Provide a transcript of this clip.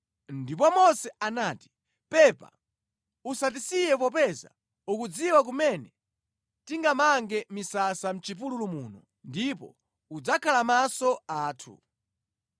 Ndipo Mose anati, “Pepa usatisiye popeza ukudziwa kumene tingamange misasa mʼchipululu muno ndipo udzakhala maso athu.